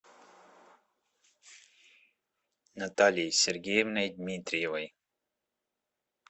натальей сергеевной дмитриевой